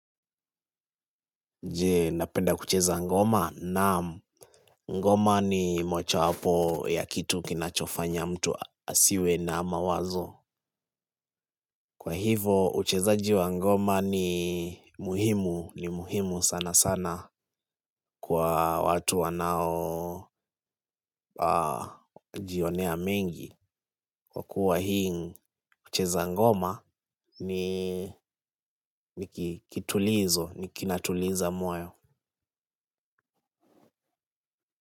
Je napenda kucheza ngoma na ngoma ni mocha wapo ya kitu kinachofanya mtu asiwe na mawazo. Kwa hivo uchezaji wa ngoma ni muhimu, ni muhimu sana sana kwa watu wanaojionea mengi. Kwa kuwa hii ucheza ngoma ni kitulizo, ni kinatuliza moyo.